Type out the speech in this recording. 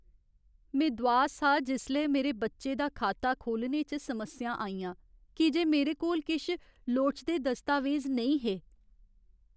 में दुआस हा जिसलै मेरे बच्चे दा खाता खोह्लने च समस्यां आइयां की जे मेरे कोल किश लोड़चदे दस्तावेज नेईं हे।